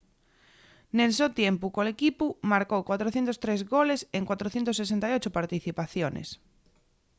nel so tiempu col equipu marcó 403 goles en 468 participaciones